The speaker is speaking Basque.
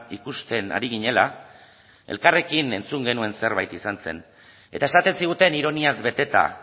ikusten ari ginela elkarrekin entzun genuen zerbait izan zen eta esaten ziguten ironiaz beteta